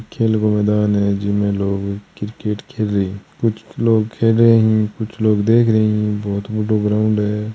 खेल को मैदान है जिमे लोग क्रिकेट खेल रहा है कुछ लोग खेल रहा है कुछ लोग देख रहे है बहुत बड़ो ग्राऊंड है।